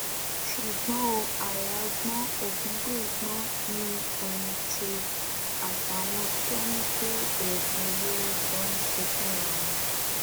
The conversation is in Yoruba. ṣùgbọn o àáyá gbọn ògúngbẹ gbọn ni ndtea àtàwọn tó ń gbé oògùn olóró jọ ń ṣe fúnra wọn